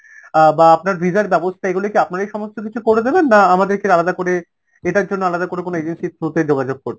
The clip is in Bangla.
অ্যাঁ বা আপনার visa র ব্যবস্থা এগুলো কি আপনারাই সমস্ত কিছু করে দেবেন না আমাদেরকে আলাদা করে এটার জন্য আলাদা করে কোন agency র through তে যোগাযোগ করতে